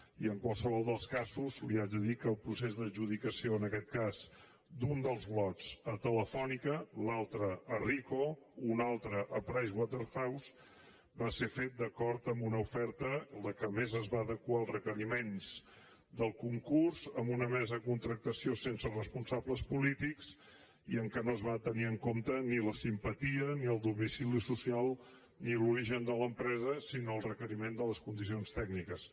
i en qualsevol dels casos li haig de dir que el procés d’adjudicació en aquest cas d’un dels lots a telefónica l’altre a ricoh un altre a pricewaterhouse va ser fet d’acord amb una oferta la que més es va adequar als requeriments del concurs amb una mesa de contractació sense responsables polítics i en què no es van tenir en compte ni la simpatia ni el domicili social ni l’origen de l’empresa sinó el requeriment de les condicions tècniques